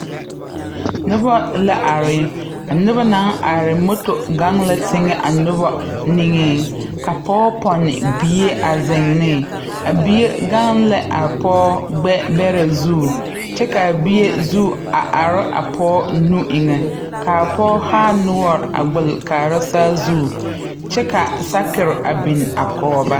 Nobo la are. A nobo naŋ are, moto gaŋ la teŋe a nobo niŋe. Ka poge ponne bie a zeŋ neŋ. A bie gaŋ la a poge gbɛbɛre zu. Kyɛ ka a bie zu a are a poge nu eŋe. Ka a poge haa nuor a gbol kaara saazu. Kyɛ ka sakir a biŋ a kɔɔ ba.